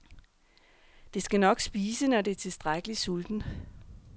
Det skal nok spise, når det er tilstrækkeligt sultent.